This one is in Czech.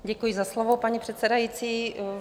Děkuji za slovo, paní předsedající.